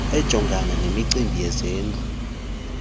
ejongana nemicimbi yezindlu